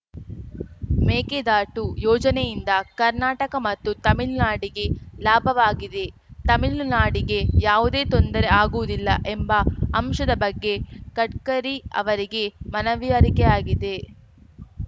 ಮೇಕೆದಾಟು ಯೋಜನೆಯಿಂದ ಕರ್ನಾಟಕ ಮತ್ತು ತಮಿಳ್ನಾಡಿಗೆ ಲಾಭವಾಗಲಿದೆ ತಮಿಳ್ನಾಡಿಗೆ ಯಾವುದೇ ತೊಂದರೆ ಆಗುವುದಿಲ್ಲ ಎಂಬ ಅಂಶದ ಬಗ್ಗೆ ಗಡ್ಕರಿ ಅವರಿಗೆ ಮನವರಿಕೆಯಾಗಿದೆ